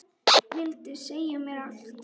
Vildi segja mér allt.